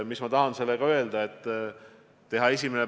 Mis ma tahan sellega öelda?